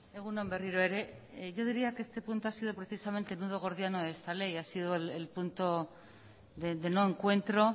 egun on berriro ere yo diría que este punto ha sido precisamente el nudo gordiano de esta ley ha sido el punto de no encuentro